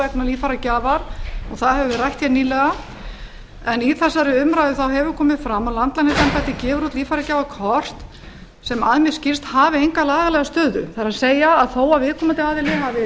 vegna líffæragjafar og það hefur verið rætt nýlega í þessari umræðu hefur komið fram að landlæknisembættið gefur út líffæragjafakort sem að mér skilst hafi enga lagalega stöðu það er þó að viðkomandi aðili hafi